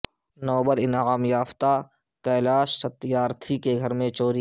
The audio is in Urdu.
نوبل انعام یافتہ کیلاش ستیارتھی کے گھر میں چوری